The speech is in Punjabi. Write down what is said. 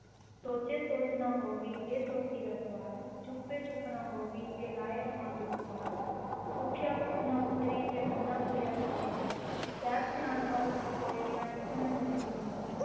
ਸੋਚੈ ਸੋਚਿ ਨ ਹੋਵਈ ਜੇ ਸੋਚੀ ਲਖ ਵਾਰ, ਚੁਪੈ ਚੁਪ ਨ ਹੋਵਈ ਜੇ ਲਾਇ ਰਹਾ ਲਿਵ ਤਾਰ, ਭੁਖਿਆ ਭੁਖ ਨ ਉਤਰੀ ਜੇ ਬੰਨਾ ਪੁਰੀਆ ਭਾਰ, ਸਹਸ ਸਿਆਣਪਾ ਲਖ ਹੋਹਿ ਤਾਂ ਇਕ ਨਾ ਚਲੈ ਨਾਲਿ,